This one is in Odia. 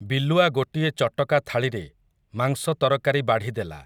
ବିଲୁଆ ଗୋଟିଏ ଚଟକା ଥାଳିରେ, ମାଂସ ତରକାରି ବାଢ଼ିଦେଲା ।